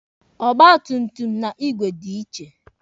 Ọgba tum tum na igwe dị iche.